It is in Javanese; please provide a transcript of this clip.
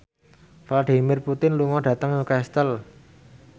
Vladimir Putin lunga dhateng Newcastle